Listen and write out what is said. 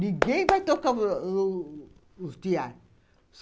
Ninguém vai tocar os tear.